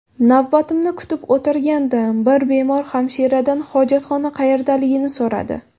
Navbatimni kutib o‘tirgandim, bir bemor hamshiradan hojatxona qayerdaligini so‘radi.